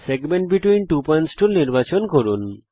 segment between two points tool নির্বাচন করুন